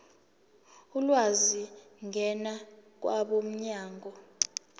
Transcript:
ulwazi ngena kwabomnyango